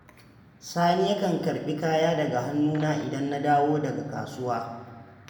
Sani yakan karɓi kaya daga hannuna idan na dawo daga kasuwa.